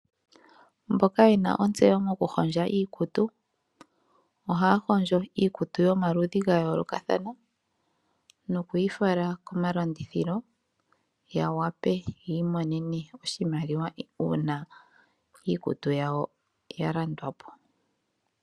Aantu mboka yena ontseyo mokuhondja iikutu, ohaya hondjo iikutu yomaludhi ga yoolokathana noku yi fala komalandithilo ya wape yi imonene oshimaliwa uuna iikutu yawo ya landwa po.